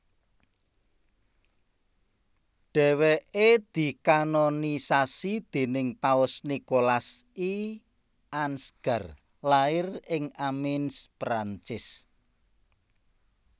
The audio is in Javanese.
Dhèwèké dikanonisasi déning Paus Nikolas I Ansgar lair ing Amiens Prancis